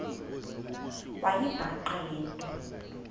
wayibhaqa le nto